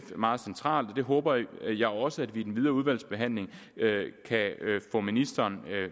meget centralt og det håber jeg også at vi i den videre udvalgsbehandling kan få ministeren